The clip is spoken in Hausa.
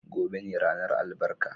Gobe ​​ne ranar albarka.